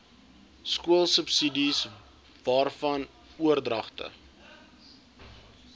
skoolsubsidies waarvan oordragte